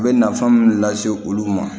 A bɛ nafan min lase olu ma